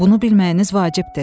Bunu bilməyiniz vacibdir.